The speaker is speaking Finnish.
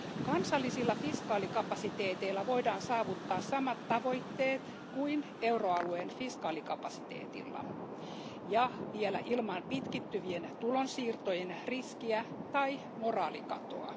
Kansallisilla fiskaalikapasiteeteilla voidaan saavuttaa samat tavoitteet kuin euroalueen fiskaalikapasiteetilla ja vielä ilman pitkittyvien tulonsiirtojen riskiä tai moraalikatoa.